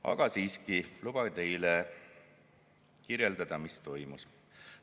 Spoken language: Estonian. Aga siiski lubage teile kirjeldada, mis toimus.